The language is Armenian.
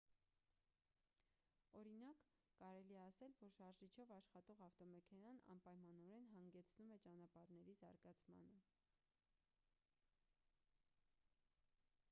օրինակ կարելի է ասել որ շարժիչով աշխատող ավտոմեքենան անպայմանորեն հանգեցնում է ճանապարհների զարգացմանը